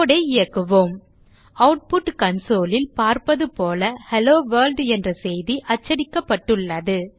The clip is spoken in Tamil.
code ஐ இயக்குவோம் ஆட்புட் console ல் பார்ப்பது போல ஹெல்லோவொர்ல்ட் என்ற செய்து அச்சடிக்கப்பட்டுள்ளது